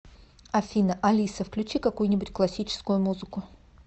афина алиса включи какую нибудь классическую музыку